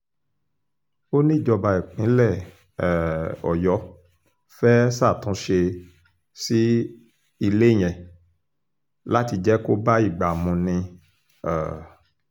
ó ní ìjọba ìpínlẹ̀ um ọ̀yọ́ fẹ́ẹ́ ṣàtúnṣe sí ilé yẹn láti jẹ́ kó bá ìgbà mu ni um